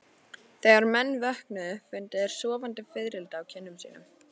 Þegar menn vöknuðu fundu þeir sofandi fiðrildi á kinnum sínum.